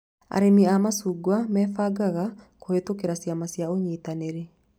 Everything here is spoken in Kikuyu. Arĩmi a macungwa mebangaga kũhĩtũkĩra ciama cia ũnyitaniri